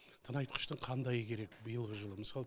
тыңайтқыштың қандайы керек биылғы жылы мысал